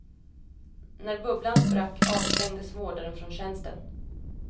När bubblan sprack avstängdes vårdaren från tjänsten.